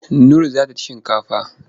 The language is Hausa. Nur za ta ci shinkafa.